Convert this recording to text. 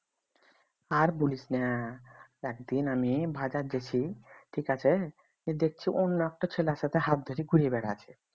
আর বলিস না একদিন আমি বাজার গেছি ঠিক আছে দেখছি অন্য একটা ছেলের সাথে হাত ধরে ঘুরে বেড়াচ্ছে